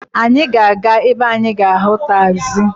Anyị ga-aga ebe anyị ga-ahụ tagzi.